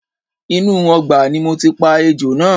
Inú ọgbà ni mo ti pa ejò náà